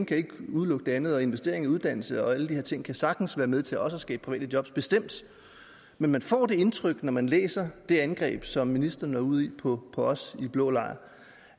kan udelukke det andet og at investeringer i uddannelse og alle de her ting sagtens kan være med til også at skabe private jobs bestemt men man får det indtryk når man læser det angreb som ministeren er ude i på os i blå lejr